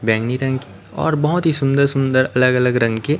बैंगनी रंग की और बहोत ही सुंदर सुंदर अलग अलग रंग की--